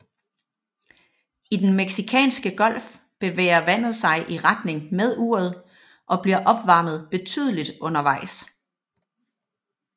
I Den Mexicanske Golf bevæger vandet sig i retning med uret og bliver opvarmet betydeligt undervejs